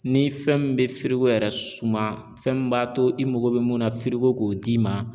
Ni fɛn min bɛ yɛrɛ suma fɛn min b'a to i mago bɛ mun na f'i ko k'o d'i ma.